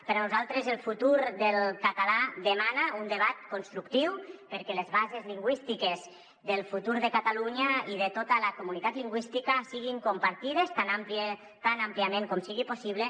per a nosaltres el futur del català de·mana un debat constructiu perquè les bases lingüístiques del futur de catalunya i de tota la comunitat lingüística siguin compartides tan àmpliament com sigui possible